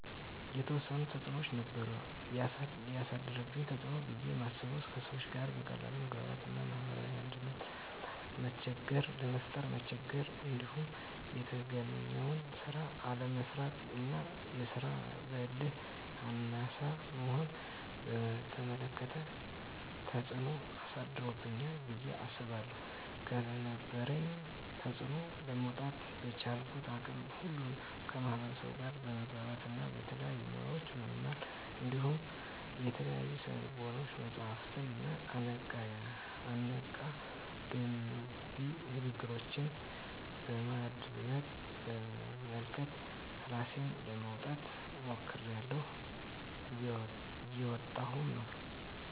የተዎሰኑ ተፅኖዎች ነበሩ። የአሳደረብኝ ተፅኖ ብየ ማስበው:- ከሰዎች ጋር በቀላሉ የመግባባት እና ማህበራዊ አንድነትን ለመፍጠር መቸገር። እንዲሁም የተገኘውን ስራ አለመስራት እና የስራ በህል አናሳ መሆንን በተመለከተ ተፅኖ አሳድሮብኛል ብየ አስባለሁ። ከነበረብኝ ተፅኖ ለመውጣ:- በቻልኩት አቅም ሁሉ ከማህበርሰቡ ጋር በመግባባት እና የተለያዩ ሙያዎችን በመማር እንዲሁም የተለያዩ የስነ ልቦና መፀሀፍትንና አነቃ፣ ገንቢ ንግግሮችን በማድመጥ፣ በመመልከት እራሴን ለማውጣት ሞክሬላሁ። እየወጣሁም ነው።